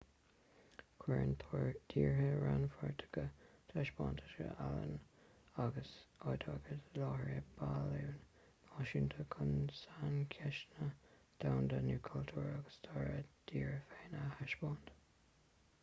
cuireann tíortha rannpháirteacha taispeántais ealaíne agus oideachais i láthair i bpailliúin náisiúnta chun saincheisteanna domhanda nó cultúr agus stair a dtíre féin a thaispeáint